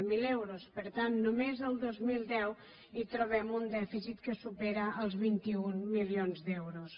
zero euros per tant només el dos mil deu hi trobem un dèficit que supera els vint un milions d’euros